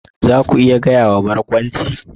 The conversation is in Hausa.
Za ku iya gaya wa Barkwanci?